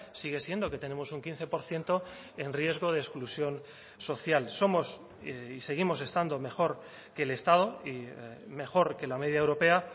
sigue siendo que tenemos un quince por ciento en riesgo de exclusión social somos y seguimos estando mejor que el estado y mejor que la media europea